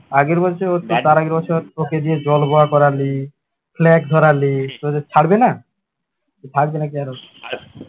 আগের বছর তার আগের বছর ওকে দিয়ে জল ঘোলা করালি flag ধরালি ছাড়বে না? থাকবে নাকি আরো